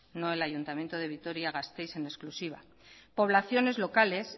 no el ayuntamiento de vitoria gasteiz en exclusiva poblaciones locales